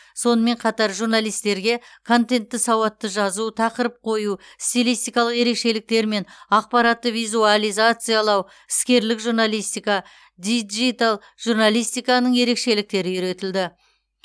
сонымен қатар журналистерге контентті сауатты жазу тақырып қою стилистикалық ерекшеліктер мен ақпаратты визуализациялау іскерлік журналистика диджитал журналистиканың ерекшеліктері үйретілді